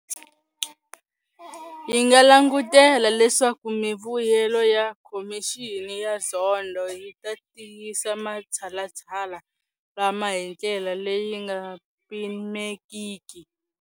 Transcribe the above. Hi nga langutela leswaku mivuyelo ya Khomixini ya Zondo yi ta tiyisa matshalatshala lama hi ndlela leyi nga pimekiki.